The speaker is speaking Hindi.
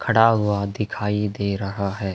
खड़ा हुआ दिखाई दे रहा है।